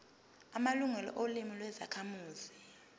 amalungelo olimi lwezakhamuzi